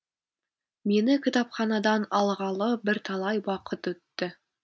мені кітапханадан алғалы бірталай уақыт өтті